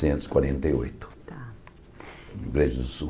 e quarenta e oito Rio Grande do Sul.